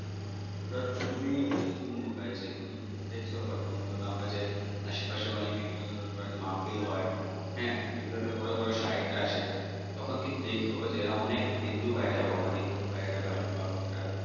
তুমি কিন্তু উম এইযে দেখছ হয়ত মূলত আমরা যে আশেপাশে অনেক বিভিন্ন ধরনের মাহফিল হয় হ্যাঁ এগুলাতে বড় বড় শায়েকরা আসে তখন কিন্তু দেইখো যে অনেক হিন্দু ভাইয়েরাও আমাদের হিন্দু ভাইয়েরাও বা বোনেরা